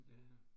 Ja